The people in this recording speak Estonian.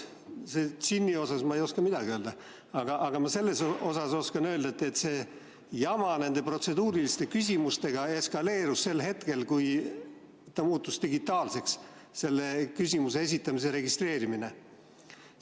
Džinni kohta ma ei oska midagi öelda, aga seda oskan öelda, et see jama nende protseduuriliste küsimustega eskaleerus sel hetkel, kui küsimuse esitamise registreerimine muutus digitaalseks.